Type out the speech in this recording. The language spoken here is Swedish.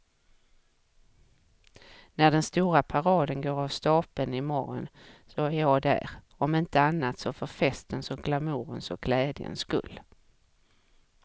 När den stora paraden går av stapeln i morgon är jag där, om inte annat så för festens och glamourens och glädjens skull.